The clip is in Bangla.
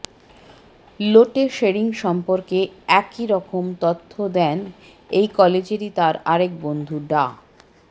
লোটে শেরিং সম্পর্কে একই রকম তথ্য দেন এই কলেজেরই তার আরেক বন্ধু ডা